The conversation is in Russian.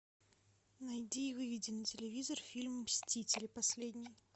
найди и выведи на телевизор фильм мстители последний